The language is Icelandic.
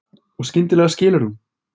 Og skyndilega skilur hún.